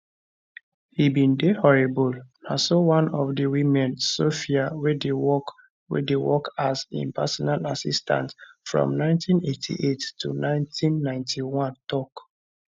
he bin dey horrible na so one of di women sophia wey work wey work as im personal assistant from 1988 to 1991 tok